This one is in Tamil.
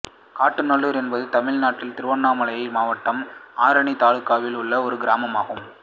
காட்டுக்காநல்லூர் என்பது தமிழ்நாட்டின் திருவண்ணாமலை மாவட்டம் ஆரணி தாலுகாவில் உள்ள ஒரு கிராமம் ஆகும்